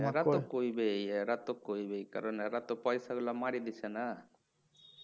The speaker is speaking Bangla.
এরা তো কইবেই এরা তো কইবেই কারণ এরা তো পয়সা গুলো মারি দিছে না